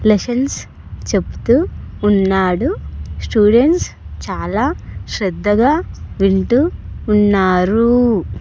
Lessons చెప్తూ ఉన్నాడు students చాలా శ్రద్ధగా వింటూ ఉన్నారు.